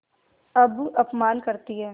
अब अपमान करतीं हैं